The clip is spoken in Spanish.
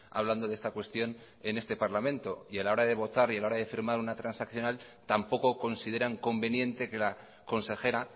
hablando de esta cuestión en este parlamento y a la hora de votar y de firmar una transaccional tampoco consideran conveniente que la consejera